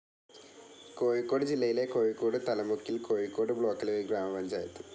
കോഴിക്കോട് ജില്ലയിലെ കോഴിക്കോട് തലമുക്കിൽ കോഴിക്കോട് ബ്ലോക്കിലെ ഒരു ഗ്രാമപഞ്ചായത്.